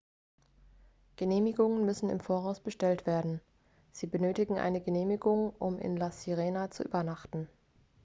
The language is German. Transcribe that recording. genehmigungen müssen im voraus bestellt werden sie benötigen eine genehmigung um in la sirena zu übernachten